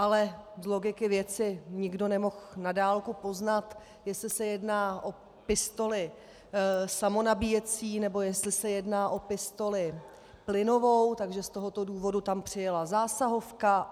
Ale z logiky věci nikdo nemohl na dálku poznat, jestli se jedná o pistoli samonabíjecí, nebo jestli se jedná o pistoli plynovou, takže z tohoto důvodu tam přijela zásahovka.